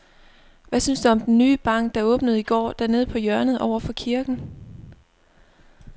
Hvad synes du om den nye bank, der åbnede i går dernede på hjørnet over for kirken?